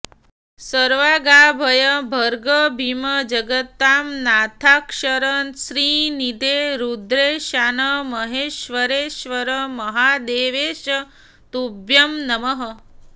शर्वोग्राभय भर्ग भीम जगतां नाथाक्षर श्रीनिधे रुद्रेशान महेश्वरेश्वर महादेवेश तुभ्यं नमः